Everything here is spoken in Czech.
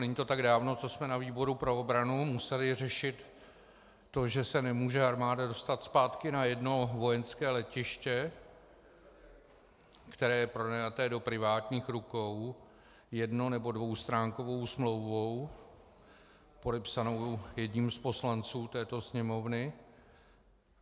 Není to tak dávno, co jsme na výboru pro obranu museli řešit to, že se nemůže armáda dostat zpátky na jedno vojenské letiště, které je pronajaté do privátních rukou jedno- nebo dvoustránkovou smlouvou podepsanou jedním z poslanců této Sněmovny.